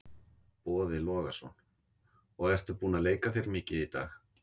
Boði Logason: Og ertu búinn að leika þér mikið í dag?